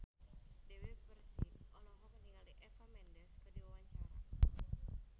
Dewi Persik olohok ningali Eva Mendes keur diwawancara